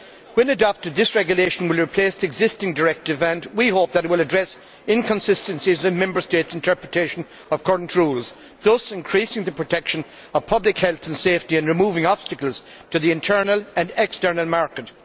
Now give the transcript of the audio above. When adopted, this regulation will replace the existing directive, and we hope it will address inconsistencies in Member States' interpretation of current rules, thus increasing the protection of public health and safety and removing obstacles to the internal and external market.